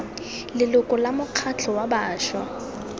leloko la mokgatlho wa bašwa